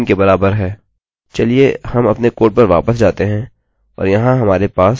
चलिए हम अपने कोड पर वापस जाते हैं और यहाँ हमारे पास हमारी post वेरिएबल है